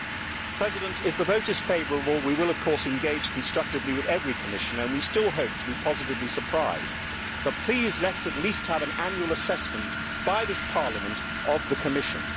Mr President, if the vote is favourable, we will, of course, engage constructively with every Commissioner and we still hope to be positively surprised, but please let us at least have an annual assessment by this Parliament of the Commission.